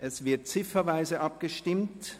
Es wird ziffernweise abgestimmt.